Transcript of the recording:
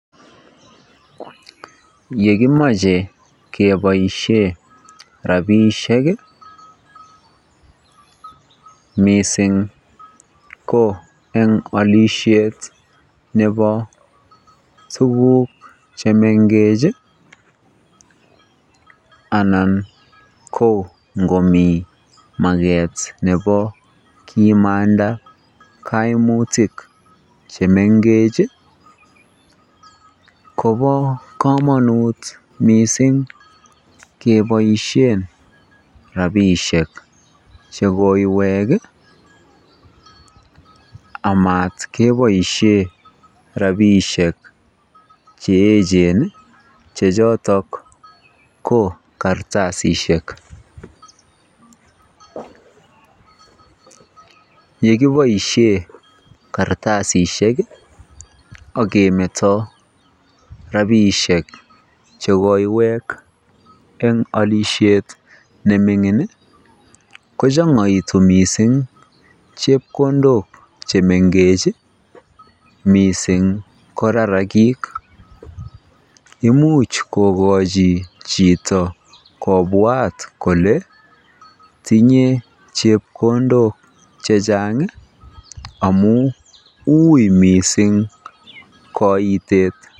Yekimoche keboishe rabishek mising' ko en olishet nebo tukuk chemengech anan ko ngomii maket nebo kimanda koimutik chemengech kobo komonut mising' keboishen rabishek chekoiwek amat keboishen rabishek che echen che chotok ko kartasishek, yekiboishe kartasisiek ak kemeto rabishek chekoiwek eng olishet nemingin ko chongoitu mising' chepkondok chemengech mising' ko rarakik, imuch kokochi chito kobwat kolee tinye chepkondok chechang' amun uii mising' koitet.